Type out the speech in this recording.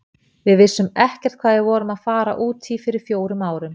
Við vissum ekkert hvað við vorum að fara út í fyrir fjórum árum.